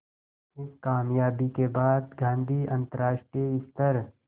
इस क़ामयाबी के बाद गांधी अंतरराष्ट्रीय स्तर